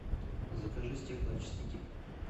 закажи стеклоочиститель